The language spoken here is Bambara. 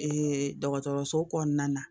dɔgɔtɔrɔso kɔnɔna na